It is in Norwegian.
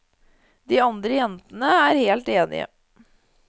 De andre jentene er helt enige.